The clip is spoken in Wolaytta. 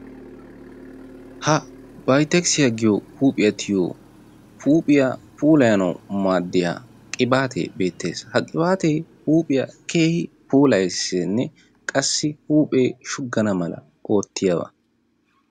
ha bayttekissiya giyo huuphiya tiyiyo huuphiya puulayanawu maadiya qibaattee beettes, ha qibaate huuphiya keehi puulayeesinne qassi huuphee shugana mala oottiyaba.